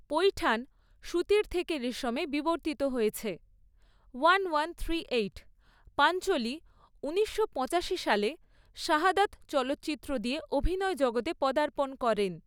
পৈঠানি সুতির থেকে রেশমে বিবর্তিত হয়েছে।